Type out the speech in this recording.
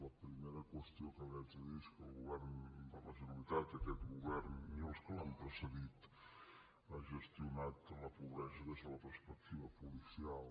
la primera qüestió que li haig de dir és que el govern de la generalitat aquest govern ni els que l’han precedit ha gestionat la pobresa des de la perspectiva policial